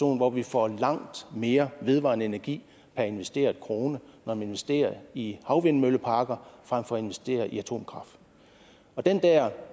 hvor vi får langt mere vedvarende energi per investeret krone når man investerer i havvindmølleparker frem for at investere i atomkraft den der